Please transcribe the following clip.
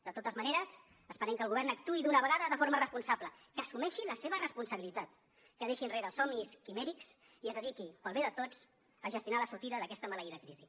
de totes maneres esperem que el govern actuï d’una vegada de forma responsable que assumeixi la seva responsabilitat que deixi enrere els somnis quimèrics i es dediqui pel bé de tots a gestionar la sortida d’aquesta maleïda crisi